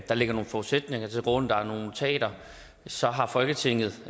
der ligger nogle forudsætninger til grund der er nogle notater og så har folketinget